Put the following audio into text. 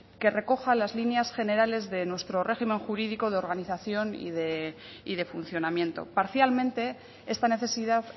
que recoja las líneas generales de nuestro régimen jurídico de organización y de funcionamiento parcialmente esta necesidad